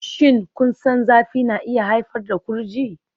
Shin kun san zafi na iya haifar da kurji?